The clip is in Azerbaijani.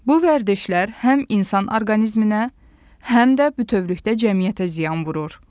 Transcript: Bu vərdişlər həm insan orqanizminə, həm də bütövlükdə cəmiyyətə ziyan vurur.